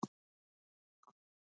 Styr